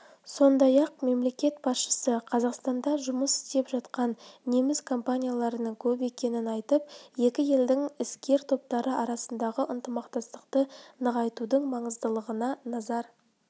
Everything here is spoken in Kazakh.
сондай-ақ мемлекет басшысы қазақстанда жұмыс істеп жатқан неміс компанияларының көп екенін айтып екі елдің іскер топтары арасындағы ынтымақтастықты нығайтудың маңыздылығына назар